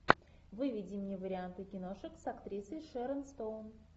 выведи мне варианты киношек с актрисой шерон стоун